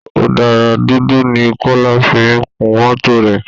Ọ̀dà dúdú ni kola fi ń kun mọ́tò rẹ